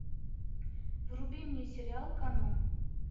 вруби мне сериал канон